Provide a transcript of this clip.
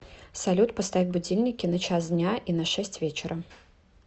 салют поставь будильники на час дня и на шесть вечера